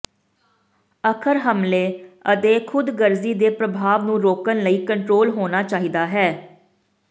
ਅੱਖਰ ਹਮਲੇ ਅਤੇ ਖ਼ੁਦਗਰਜ਼ੀ ਦੇ ਪ੍ਰਭਾਵ ਨੂੰ ਰੋਕਣ ਲਈ ਕੰਟਰੋਲ ਹੋਣਾ ਚਾਹੀਦਾ ਹੈ